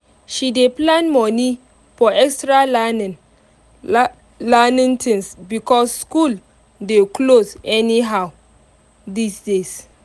she dey plan money for extra learning learning things because school dey close anyhow these days.